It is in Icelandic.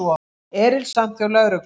Erilsamt hjá lögreglu